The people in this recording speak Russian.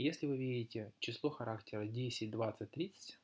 если увидите число характера десять двадцать тридцать